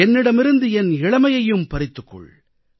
என்னிடமிருந்து என் இளமையையும் பறித்துக் கொள்